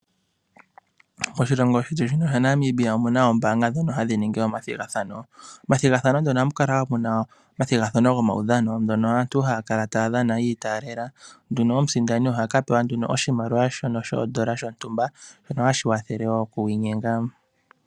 Oshilongo shetu shaNamibia omuna oombaanga ndhono hadhi ningi omathigathano. Ohamu kala muna omathigathano gomaudhano aantu haya kaya dhana aantu mosindi ohapewa oshimaliwa shasho shoondola dhontumba.